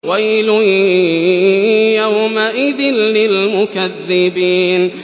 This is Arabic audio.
وَيْلٌ يَوْمَئِذٍ لِّلْمُكَذِّبِينَ